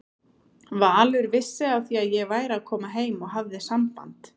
Valur vissi af því að ég væri að koma heim og hafði samband.